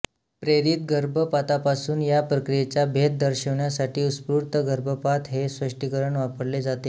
प्रेरित गर्भपातापासून या प्रक्रियेचा भेद दर्शविण्यासाठी उत्स्फूर्त गर्भपात हे स्पष्टीकरण वापरले जाते